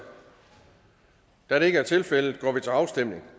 da det ikke er tilfældet går vi til afstemning